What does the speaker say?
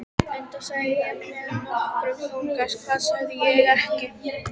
Enda sagði ég með nokkrum þunga: Hvað sagði ég ekki?